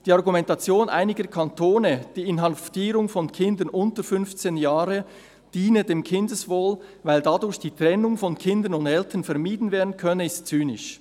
Die Argumentation einiger Kantone, die Inhaftierung von Kindern unter 15 Jahren diene dem Kindeswohl, weil dadurch die Trennung von Kindern und Eltern vermieden werden könne, ist zynisch.